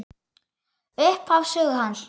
Upphaf sögu hans.